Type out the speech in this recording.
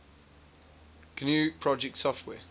gnu project software